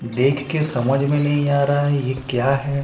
देख के समझ में नहीं आ रहा है ये क्या है।